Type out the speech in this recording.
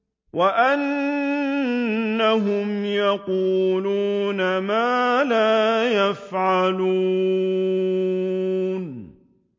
وَأَنَّهُمْ يَقُولُونَ مَا لَا يَفْعَلُونَ